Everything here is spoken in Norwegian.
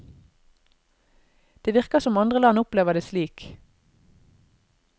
Det virker som andre land opplever det slik.